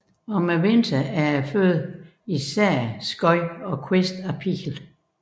Om vinteren er føden fortrinsvis skud og kviste af pil